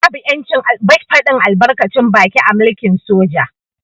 Babu yancin fadin albarkacin baki a mulkin soja.